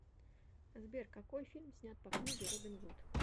сбер какои фильм снять по книге робин гуд